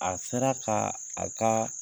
A sera ka a ka